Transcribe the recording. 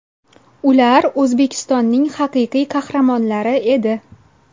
Ular O‘zbekistonning Haqiqiy Qahramonlari edi.